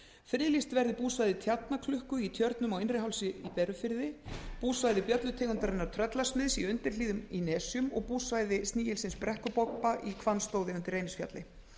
friðlýst verði búsvæði tjarnaklukku í tjörnum á innrihálsi í berufirði búsvæði bjöllutegundarinnar tröllasmiðs í undirhlíðum í nesjum og búsvæði snigilsins brekkubobba í hvannstóði undir reynisfjalli